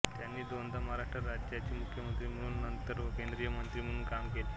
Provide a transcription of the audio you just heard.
त्यांनी दोनदा महाराष्ट्र राज्याचाे मुख्यमंत्री म्हणूम व नंतर व केंद्रीय मंत्री म्हणून काम केले